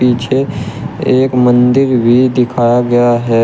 पीछे एक मंदिर भी दिखाया गया है।